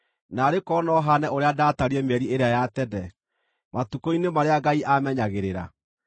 “Naarĩ korwo no haane ũrĩa ndaatariĩ mĩeri ĩrĩa ya tene, matukũ-inĩ marĩa Ngai aamenyagĩrĩra,